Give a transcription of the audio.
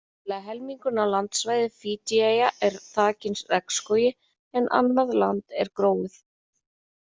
Tæplega helmingurinn af landsvæði Fídjieyja er þakinn regnskógi en annað land er gróið.